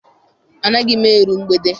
Anaghị m eru mgbede.